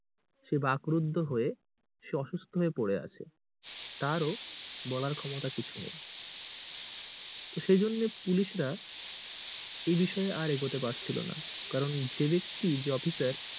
সে বাকরুদ্ধ হয়ে সে অসুস্থ হয়ে পড়ে আছে তার ও বলার ক্ষমতা কিছুই নেয়। তো সে জন্যে পুলিশরা এই বিষয়ে আর এগোতে পারছিলোনা, কারণ যে ব্যাক্তি যে অফিসার